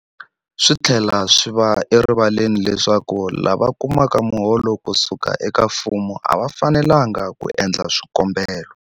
Swi tlhela swi va erivaleni leswaku lava kumaka miholo ku suka eka mfumo a va fanelanga ku endla swikombelo.